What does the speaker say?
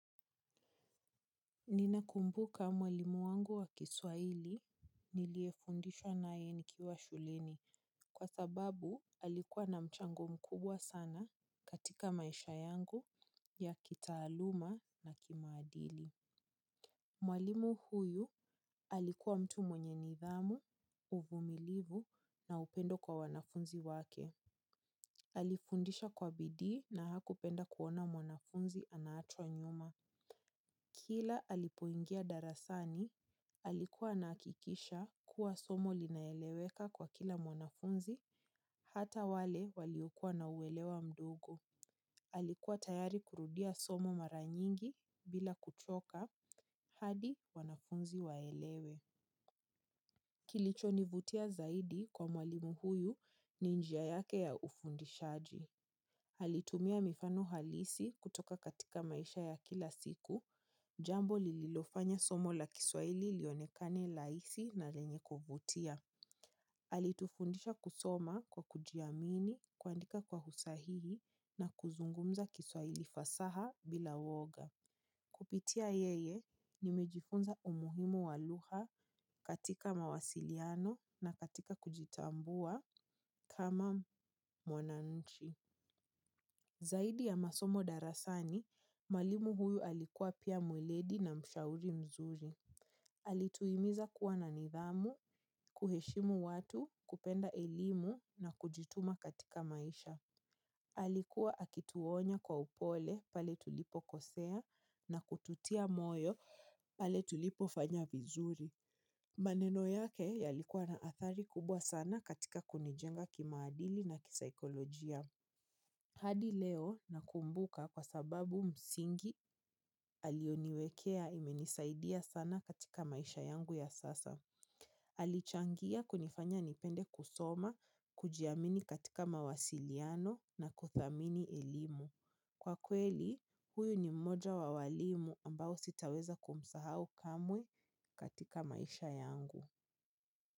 Ninakumbuka mwalimu wangu wa kiswahili niliyefundishwa naye nikiwa shuleni kwa sababu alikuwa na mchango mkubwa sana katika maisha yangu ya kitaaluma na kimaadili. Mwalimu huyu alikuwa mtu mwenye nidhamu, uvumilivu na upendo kwa wanafunzi wake. Alifundisha kwa bidii na hakupenda kuona mwanafunzi anaachwa nyuma. Kila alipoingia darasani alikuwa anahakikisha kuwa somo linaeleweka kwa kila mwanafunzi hata wale waliokuwa na uwelewa mdogo. Alikuwa tayari kurudia somo maranyingi bila kuchoka, hadi wanafunzi waelewe. Kilicho nivutia zaidi kwa mwalimu huyu ni njia yake ya ufundishaji. Alitumia mifano halisi kutoka katika maisha ya kila siku, jambo lililofanya somo la kiswaili lionekane rahisi na lenye kuvutia. Alitufundisha kusoma kwa kujiamini, kuandika kwa usahihi na kuzungumza kiswaili fasaha bila woga. Kupitia yeye nimejifunza umuhimu wa lugha katika mawasiliano na katika kujitambua kama mwananchi. Zaidi ya masomo darasani, mwalimu huyu alikuwa pia mweledi na mshauri mzuri. Alituhimiza kuwa na nidhamu, kuheshimu watu, kupenda elimu na kujituma katika maisha. Alikuwa akituonya kwa upole pale tulipo kosea na kututia moyo pale tulipo fanya vizuri. Maneno yake yalikuwa na athari kubwa sana katika kunijenga kimaadili na kisaikolojia. Hadi leo nakumbuka kwa sababu msingi alioniwekea imenisaidia sana katika maisha yangu ya sasa. Alichangia kunifanya nipende kusoma, kujiamini katika mawasiliano na kuthamini elimu. Kwa kweli, huyu ni mmoja wa walimu ambao sitaweza kumsahau kamwe katika maisha yangu.